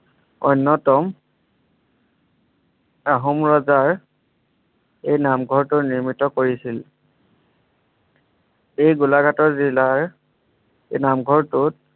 অন্যতম আহোম ৰজাৰ এই নামঘৰটো নিৰ্মিত কৰিছিল এই গোলাঘাটৰ জিলাৰ এই নামঘৰটোত